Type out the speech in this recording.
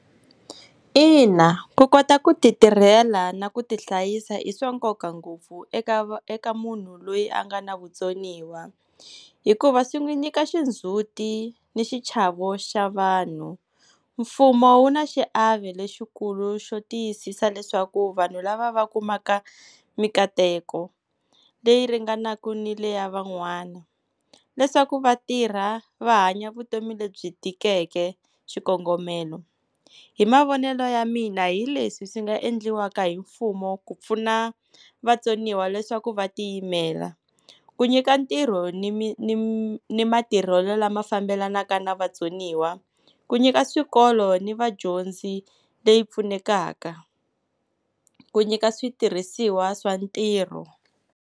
Ina, ku kota ku ti tirhela na ku tihlayisa i swa nkoka ngopfu eka, eka munhu loyi a nga na vutsoniwa hikuva swi n'wi nyika xindzuti ni xichavo xa vanhu. Mfumo wu na xiave lexikulu xo tiyisisa leswaku vanhu lava va kumaka mikateko, leyi ringanaka ni leya van'wana leswaku va tirha va hanya vutomi lebyi tikeke xikongomelo. Hi mavonelo ya mina hileswi swi nga endliwaka hi mfumo ku pfuna vatsoniwa leswaku va tiyimela, ku nyika ntirho ni ni matirhelo lama fambelanaka na vatsoniwa, ku nyika swikolo ni vadyondzi leyi pfunekaka, ku nyika switirhisiwa swa ntirho.